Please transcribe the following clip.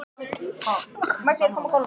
Einnig fór þak af garðhýsi